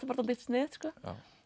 bara dálítið sniðugt sko